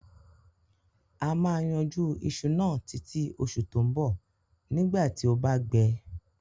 A ma yanjú isu náà títí osù to bo nígbàtí o ba gbẹ